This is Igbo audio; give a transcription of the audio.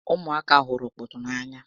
Ụmụ aka hụrụ okpoto n'anya